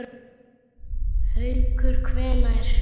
Haukur: Hvenær?